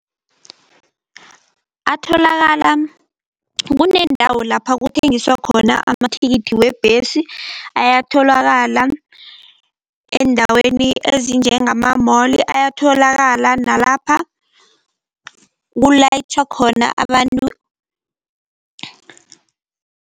Atholakala, kuneendawo lapha kuthengiswa khona amathikithi wembesi. Ayatholakala eendaweni ezinjengama-mall, ayatholakala nalapha kulayitjhwa khona abantu